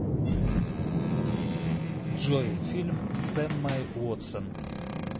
джой фильм с эммой уотсон